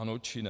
Ano, či ne?